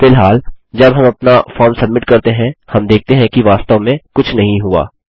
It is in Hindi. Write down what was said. फिलहालजब हम अपना फॉर्म सब्मिट करते हैं हम देखते हैं कि वास्तव में कुछ नहीं हुआ